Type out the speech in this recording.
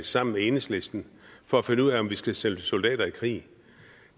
sammen med enhedslisten for at finde ud af om vi skal sende soldater i krig